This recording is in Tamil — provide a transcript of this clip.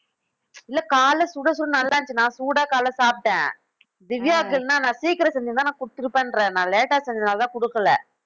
இல்ல காலையிலே நல்லா இருந்துச்சி நான் சூடா காலையிலே சாப்பிட்டேன் திவ்யாவுக்கு என்னனா நான் சீக்கிரம் செஞ்சிருந்தா நான் குடுத்துருப்பேன்றேன் நான் late செஞ்சதுனால தான் கொடுக்கல